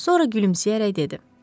Sonra gülümsəyərək dedi: